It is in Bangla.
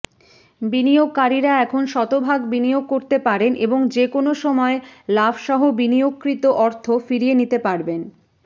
বিনিয়োগকারীরা এখন শতভাগ বিনিয়োগ করতে পারেন এবং যেকোনো সময় লাভসহ বিনিয়োগকৃত অর্থ ফিরিয়ে নিতে পারবেন